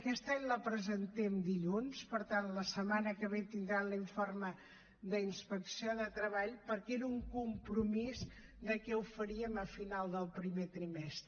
aquest any la presentem dilluns per tant la setmana que ve tindran l’informe d’inspecció de treball perquè era un compromís de que ho faríem a final del primer trimestre